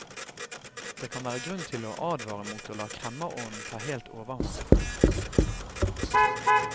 Det kan være grunn til å advare mot å la kremmerånden ta helt overhånd.